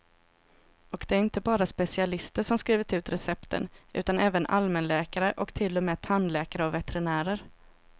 Och det är inte bara specialister som skrivit ut recepten, utan även allmänläkare och till och med tandläkare och veterinärer.